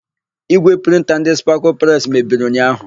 Ígwè prịnta ndị Spakụlụ Presi mebiri ụnyaahụ.